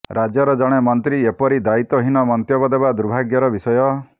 ରାଜ୍ୟର ଜଣେ ମନ୍ତ୍ରୀ ଏପରି ଦାୟିତ୍ୱହୀନ ମନ୍ତବ୍ୟ ଦେବା ଦୁର୍ଭାଗ୍ୟର ବିଷୟ